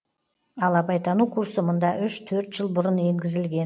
ал абайтану курсы мұнда үш төрт жыл бұрын енгізілген